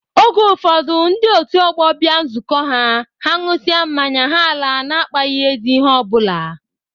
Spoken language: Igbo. Oge ụfọdụ ndị otu ọgbọ bịa nzukọ ha, ha ṅụsịa mmanya, ha alaa na-akpaghị ezi ihe ọ bụla